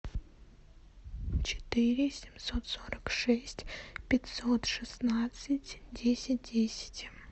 четыре семьсот сорок шесть пятьсот шестнадцать десять десять